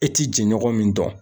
E ti jɛɲɔgɔn min dɔn?